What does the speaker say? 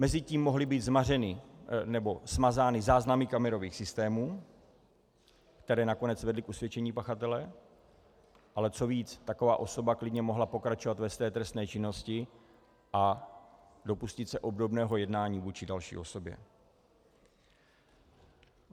Mezitím mohly být zmařeny, nebo smazány záznamy kamerových systémů, které nakonec vedly k usvědčení pachatele, ale co víc, taková osoba klidně mohla pokračovat ve své trestné činnosti a dopustit se obdobného jednání vůči další osobě.